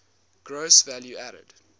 gross value added